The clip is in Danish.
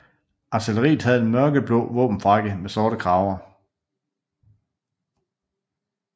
Artilleriet havde en mørkeblå våbenfrakke med sorte kraver